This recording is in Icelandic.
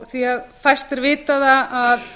því að fæstir vita það að